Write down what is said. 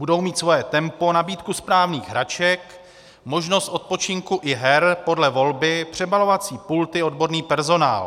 Budou mít svoje tempo, nabídku správných hraček, možnost odpočinku i her podle volby, přebalovací pulty, odborný personál.